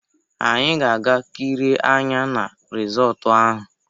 Anyị ga-aga kirie anya na risọtu ahụ.